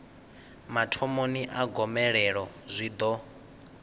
mathomoni a gomelelo zwi ḓo